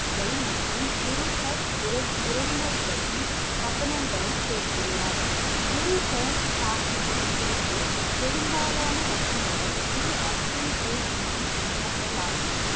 மற்றும் குரு ஹர்~ உற~உறவினர்களின் வசனங்களை சேர்த்துள்ளார். குரு கிரந்த சாஹிப்பில் இருந்து பெரும்பாலான வசனங்கள் குரு அர்ஜுன் தேவ் ஜியின் வசனங்கள் ஆகும்.